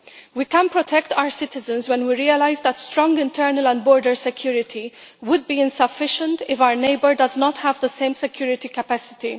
We can protect our citizens when we realise that strong internal and border security would be insufficient if our neighbour does not have the same security capacity.